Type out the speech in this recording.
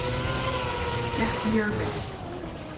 Gekk mjög vel.